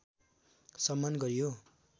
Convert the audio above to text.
सम्मान गरियो